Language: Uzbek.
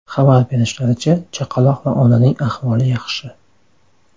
Xabar berishlaricha, chaqaloq va onaning ahvoli yaxshi.